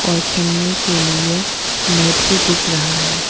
और खेलने के लिए नेट भी दिख रहा है।